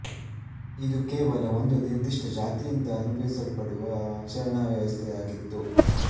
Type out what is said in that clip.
ಇದು ಕೇವಲ ಒಂದು ನಿರ್ದಿಷ್ಟ ಜಾತಿಯಿಂದ ಅನುಭವಿಸಲ್ಪಡುತ್ತಿದ್ದ ಆಚರಣಾ ವ್ಯವಸ್ಥೆಯಾಗಿತ್ತು